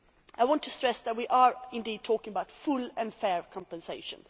I want to stress that we are indeed talking about full and fair compensation.